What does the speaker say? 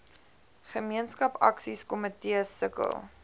gemeenskap aksiekomitees sukkel